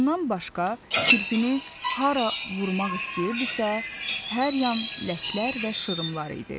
Bundan başqa, kirpini hara vurmaq istəyirdisə, hər yan ləklər və şırımlar idi.